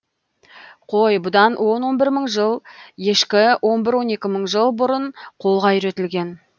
қой бұдан он он бір мың жыл ешкі он бір он екі мың жыл бұрын қолға үйретілген